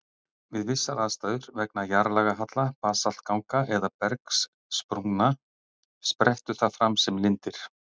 Við vissar aðstæður, vegna jarðlagahalla, basaltganga eða bergsprungna, sprettur það fram sem lindir.